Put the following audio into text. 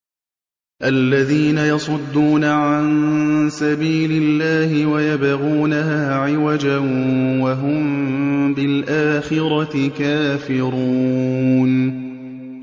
الَّذِينَ يَصُدُّونَ عَن سَبِيلِ اللَّهِ وَيَبْغُونَهَا عِوَجًا وَهُم بِالْآخِرَةِ كَافِرُونَ